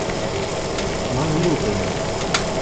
мавлютове